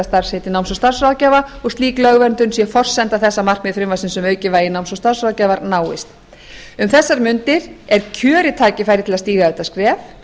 starfsheiti náms og starfsráðgjafa og slík lögverndun sé forsenda þess að markmið frumvarpsins um aukið vægi náms og starfsráðgjafar náist um þessar mundir er kjörið tækifæri til að stíga þetta skref